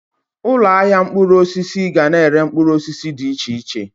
Ụlọ ahịa mkpụrụ osisi ga-na ere mkpụrụ osisi dị iche iche